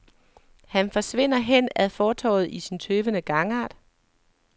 Han forsvinder hen ad fortovet i sin tøvende gangart.